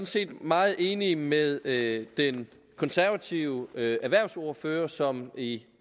set meget enig med med den konservative erhvervsordfører som i